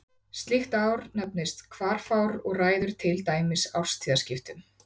slíkt ár nefnist hvarfár og ræður til dæmis árstíðaskiptum